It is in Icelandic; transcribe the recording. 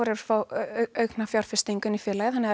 fá auknar fjárfestingar inn í félagið þannig að